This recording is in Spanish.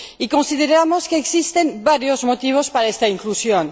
Consideramos que existen varios motivos para esta inclusión.